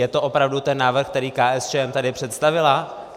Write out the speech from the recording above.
Je to opravdu ten návrh, který KSČM tady představila?